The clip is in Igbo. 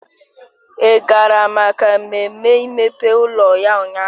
Ị gara maka mmemme imepe ụlọ ya ụnyaahụ?